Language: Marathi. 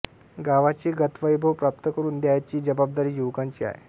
गावाचे गतवैभव प्राप्त करून द्यायची जबाबदारी युवकांची आहे